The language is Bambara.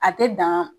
A tɛ dan